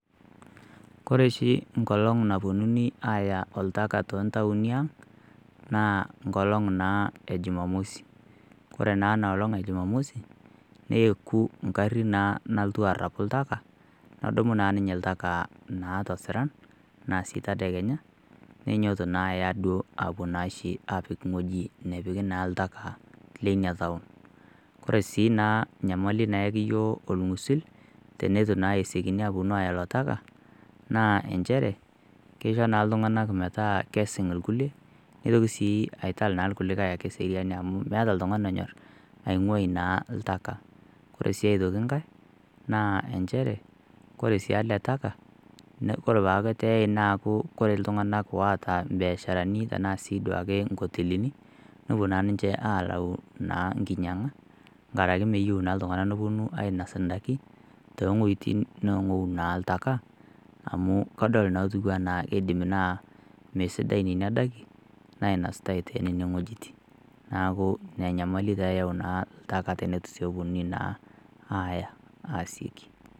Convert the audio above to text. Kore oshi enkolong napuonunui aaya oltaka toontauni aang naa enkolong e jumamosi kore naa ina olong ejuma mosi neeku enkari naa nalotu anapu ltaka nedumu naa ninye oltaka tesiran entedekenya neinyiototo naa aya ashee aapik ng'weji nepiki naa oltaka leina taon ore sii naa nyamali naayaki iyiok orng'usil teneitu esiokini aaponu aaya ilo taka naa inchere keisho naa ooltung'anak meetaa kesing irkulie neitoki sii aital naa irkulikae naa eseriani amu meeta oltung'ani onyor aing'uai naa oltaka kore sii aitoki nkae naa inchere koree sii ade ele taka neme kore naa peeku kore iltung'anak oota imbiasharani tenaa siiduake inkotelini nepuo naa ninche aakau nkinyiang'a nkaraki meyieu iltung'anak nepuonu ainas indaiki toongu'eitin neepuo naa iltaka amu kadol naa etiu enaa keidim naa mesidai nena daikin nainasitai tenewueji neeku ina nyamali taa eeta oltaka teneitu naa epuonunui aaya asioki